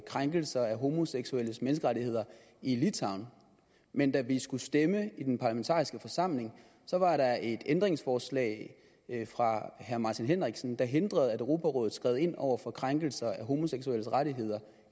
krænkelser af homoseksuelles menneskerettigheder i litauen men da vi skulle stemme i den parlamentariske forsamling var der et ændringsforslag fra herre martin henriksen der hindrede at europarådet skred ind over for krænkelser af homoseksuelles rettigheder